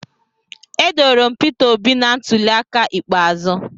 Edoro m Peter obi na ntuli aka ikpeazụ